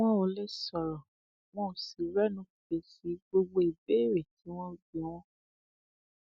wọn ò lè sọrọ wọn ò sì rẹnu fèsì gbogbo ìbéèrè tí wọn ń bi wọn